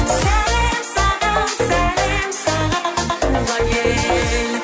сәлем саған сәлем саған туған ел